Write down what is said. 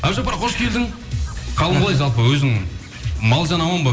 әбдіжаппар қош келдің қалың қалай жалпы өзің мал жан аман ба